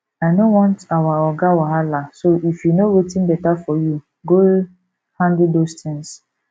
i no want our oga wahala so if you know wetin beta for you you go handle those things